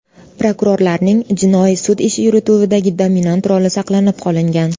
Prokurorlarning jinoiy sud ishi yurituvidagi dominant roli saqlanib qolingan”.